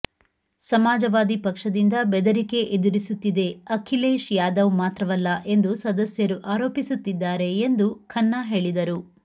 ಸಮಾಜವಾದಿ ಪಕ್ಷದಿಂದ ಬೆದರಿಕೆ ಎದುರಿಸುತ್ತಿದೆ ಅಖಿಲೇಶ್ ಯಾದವ್ ಮಾತ್ರವಲ್ಲ ಎಂದು ಸದಸ್ಯರು ಆರೋಪಿಸುತ್ತಿದ್ದಾರೆ ಎಂದು ಖನ್ನಾ ಹೇಳಿದರು